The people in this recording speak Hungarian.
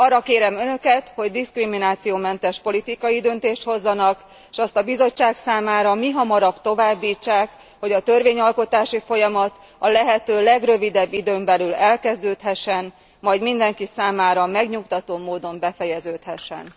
Arra kérem önöket, hogy diszkriminációmentes politikai döntést hozzanak, s azt a Bizottság számára mihamarabb továbbítsák, hogy a törvényalkotási folyamat a lehető legrövidebb időn belül elkezdődhessen, majd mindenki számára megnyugtató módon befejeződhessen.